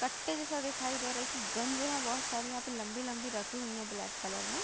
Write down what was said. कट्टे जैसा दिखाई दे रहा है कि गन जो है बहोत सारी यहां पर लंबी-लंबी रखी हुई हैं ब्लैक कलर में।